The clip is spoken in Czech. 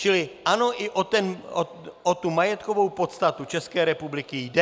Čili ano, i o tu majetkovou podstatu České republiky jde.